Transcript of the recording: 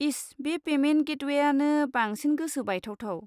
इस, बे पेमेन्ट गेटवेआनो बांसिन गोसो बायथावथाव।